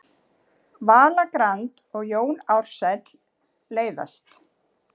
Vala Grand og Jón Ársæll leiðast